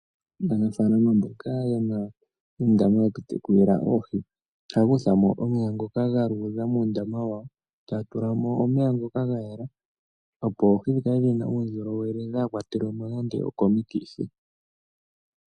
Aanafaalama mboka yena oondama woku tekulila oohi ohaa kuthamo omeya ngoka galuudha muundama wawo taa tulamo omeya ngoka gayela opo oohi dhikale dhina uundjolowele dhaakwatelwemo nando oko mikithi.